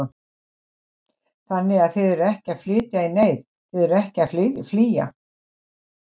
Þannig að þið eruð ekki að flytja í neyð, þið eruð ekki að flýja?